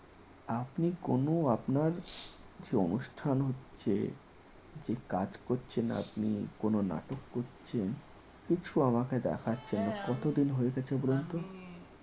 আপনি কোন আপনার যে অনুষ্ঠান হচ্ছে যে কাজ করছেন আপনি কোন নাটক করছেন কিছু আমাকে দেখাচ্ছেন না কতদিন হয়ে গেছে বলুন তো?